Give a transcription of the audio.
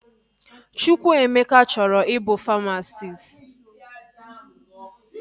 Chukwuemeka chọrọ ị bụ famasisti